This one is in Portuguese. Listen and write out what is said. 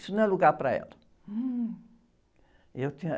Isso não é lugar para ela. E eu tinha...